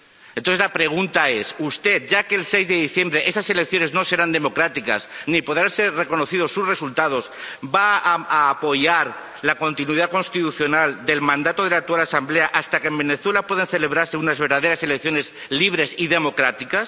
Entonces la pregunta es ¿usted, ya que las elecciones del 6 de diciembre no serán democráticas ni podrán ser reconocidos sus resultados, va a apoyar la continuidad constitucional del mandato de la actual Asamblea hasta que en Venezuela puedan celebrarse unas verdaderas elecciones libres y democráticas?